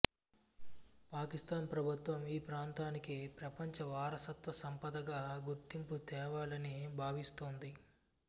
పాకిస్తాన్ ప్రభుత్వం ఈ ప్రాంతానికి ప్రపంచ వారసత్వ సంపదగా గుర్తింపు తేవాలని భావిస్తోంది